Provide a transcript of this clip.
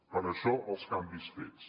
per això els canvis fets